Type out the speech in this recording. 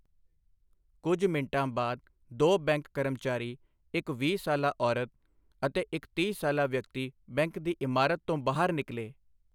ਕੁੱਝ ਮਿੰਟਾਂ ਬਾਅਦ ਦੋ ਬੈਂਕ ਕਰਮਚਾਰੀ, ਇੱਕ ਵੀਹ ਸਾਲਾ ਔਰਤ ਅਤੇ ਇੱਕ ਤੀਹ ਸਾਲਾ ਵਿਅਕਤੀ ਬੈਂਕ ਦੀ ਇਮਾਰਤ ਤੋਂ ਬਾਹਰ ਨਿਕਲੇ।